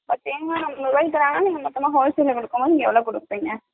அதேமாறி உங்களுக்கு தராங்கனா முன்னபின்ன wholesale க்கு குடுக்கனும்னா எவ்ளோக்கு குப்பீங்கனா ?